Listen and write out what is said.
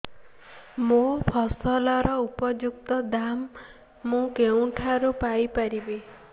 ମୋ ଫସଲର ଉପଯୁକ୍ତ ଦାମ୍ ମୁଁ କେଉଁଠାରୁ ପାଇ ପାରିବି